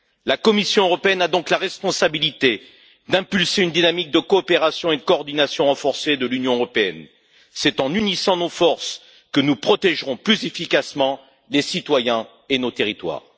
La Commission européenne a donc la responsabilité d'impulser une dynamique de coopération et une coordination renforcée de l'Union européenne. C'est en unissant nos forces que nous protégerons plus efficacement les citoyens et nos territoires.